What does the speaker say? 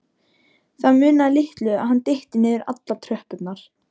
Það munaði litlu að hann dytti niður allar tröppurnar.